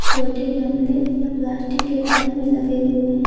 छोटे गमले प्लास्टिक के बैग मे लगे हुएं हैं।